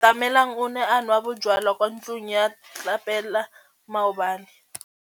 Atamelang o ne a nwa bojwala kwa ntlong ya tlelapa maobane.